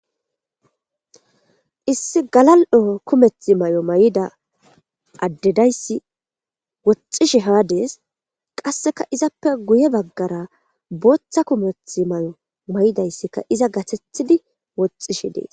Issi galal'o kumeth may''o may'ida addedayssi woxxishi haadees qasseka izappe guye baggara booththa kumeth may'o may'idayssika iza gatethidi woxxishi dees.